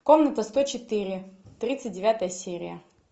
комната сто четыре тридцать девятая серия